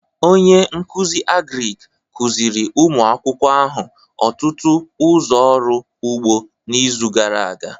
Onye nkuzi Agric kuziri ụmụ akwụkwọ ahụ ọtụtụ ụzọ ọrụ ugbo n'izu gara aga